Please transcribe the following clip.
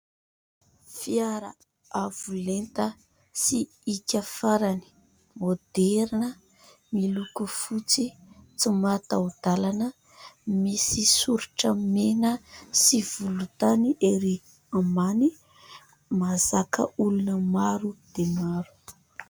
Fiara avo lenta sy hiaka farany, moderina, miloko fotsy, tsy mataho-dalana, misy soritra mena sy volontany ery ambany, mahazaka olona maro dia maro.